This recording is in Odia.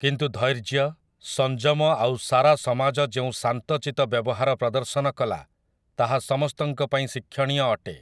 କିନ୍ତୁ ଧୈର୍ଯ୍ୟ, ସଂଯମ ଆଉ ସାରା ସମାଜ ଯେଉଁ ଶାନ୍ତଚିତ ବ୍ୟବହାର ପ୍ରଦର୍ଶନ କଲା ତାହା ସମସ୍ତଙ୍କ ପାଇଁ ଶିକ୍ଷଣୀୟ ଅଟେ ।